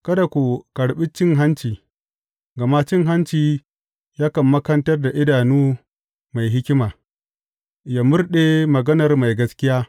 Kada ku karɓi cin hanci, gama cin hanci yakan makanta idanu mai hikima, yă murɗe maganar mai gaskiya.